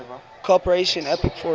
cooperation apec forum